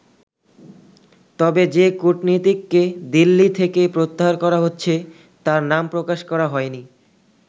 তবে যে কূটনীতিককে দিল্লি থেকে প্রত্যাহার করা হচ্ছে তার নাম প্রকাশ করা হয়নি।